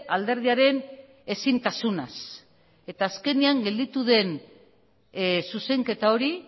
alderdiaren ezintasunaz eta azkenean gelditu den zuzenketa hori